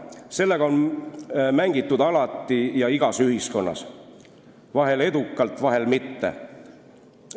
Sellega on mängitud alati ja igas ühiskonnas, vahel edukalt, vahel mitte.